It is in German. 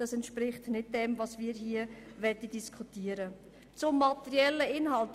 Das entspricht nicht dem, was wir hier diskutieren möchten.